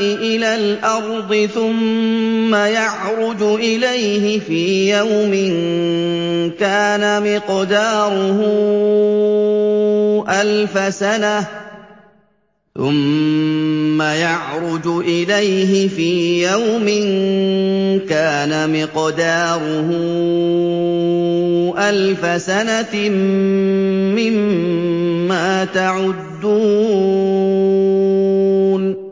إِلَى الْأَرْضِ ثُمَّ يَعْرُجُ إِلَيْهِ فِي يَوْمٍ كَانَ مِقْدَارُهُ أَلْفَ سَنَةٍ مِّمَّا تَعُدُّونَ